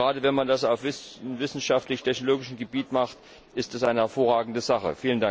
Gerade wenn man das auf wissenschaftlich technologischem Gebiet macht, ist das eine hervorragende Sache.